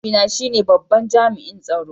Mahaifina shine babban jami'in tsaro.